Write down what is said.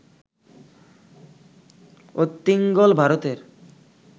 অত্তিঙ্গল, ভারতের